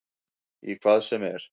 Í hvað sem er.